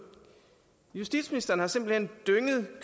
justitsministeren har simpelt hen dynget